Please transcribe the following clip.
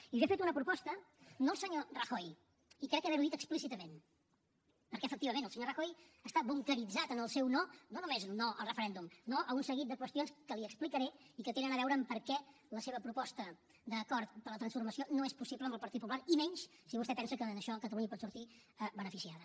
i jo he fet una proposta no al senyor rajoy i crec haver ho dit explícitament perquè efectivament el senyor rajoy està bunqueritzat en el seu no no només no al referèndum no a un seguit de qüestions que li explicaré i que tenen a veure amb per què la seva proposta d’acord per a la transformació no és possible amb el partit popular i menys si vostè pensa que en això catalunya pot sortir beneficiada